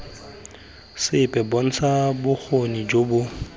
sepe bontsha bokgoni jo bo